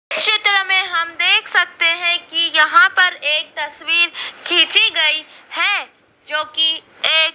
इस चित्र में हम देख सकते हैं कि यहां पर एक तस्वीर खींची गई है जो कि एक--